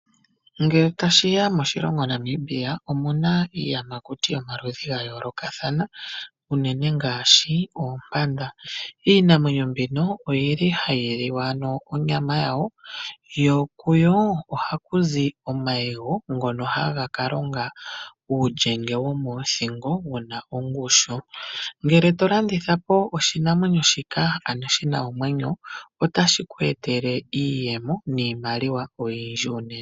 Ngele tashi ya moshilongo Namibia omuna iiyamakuti yomaludhi gayoolokathana unene ngaashi oompanda . Iinamwenyo mbino oyili hayi liwa onyama yawo , yokuyo ohaku zi omayego ngono haga kalonga uulyenge womoothingo wuna ongushu. Ngele tolandithapo oshinamwenyo nenge shina omwenyo, otashi ku etele iiyemo oyindji.